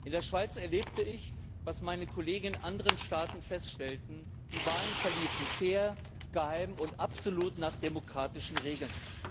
In der Schweiz erlebte ich, was meine Kollegen in anderen Staaten feststellten Die Wahlen verliefen fair, geheim und absolut nach demokratischen Regeln.